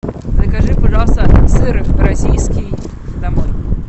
закажи пожалуйста сыр российский домой